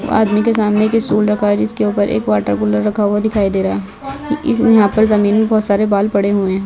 आदमी के सामने एक स्टूल रखा है जिसके ऊपर एक वाटर कूलर रखा हुआ दिखाई दे रहा है इस यहाँ पे जमीन पे बहोत सारे बाल पड़े हुए हैं।